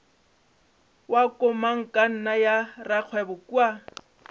wa komangkanna ya rakgwebo kua